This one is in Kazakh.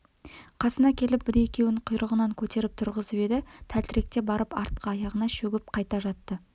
қасына келіп бір-екеуін құйрығынан көтеріп тұрғызып еді тәлтіректеп барып артқы аяғына шөгіп қайта жатты